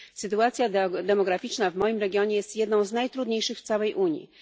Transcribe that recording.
Sytuacja demograficzna w moim regionie jest jedną z najtrudniejszych w całej Unii.